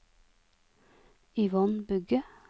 Yvonne Bugge